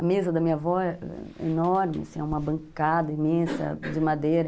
A mesa da minha avó é enorme, assim, é uma bancada imensa de madeira.